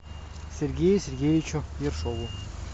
сергею сергеевичу ершову